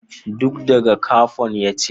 Duk daga Capon ya ce